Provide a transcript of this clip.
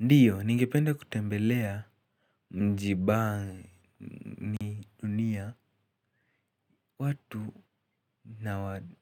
Ndiyo, ningependa kutembelea mji bania watu